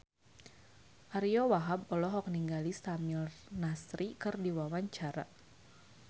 Ariyo Wahab olohok ningali Samir Nasri keur diwawancara